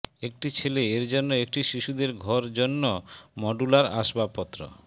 একটি ছেলে এর জন্য একটি শিশুদের ঘর জন্য মডুলার আসবাবপত্র